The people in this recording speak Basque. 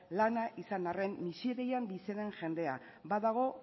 lana izan arren miserian bizi den jendea badago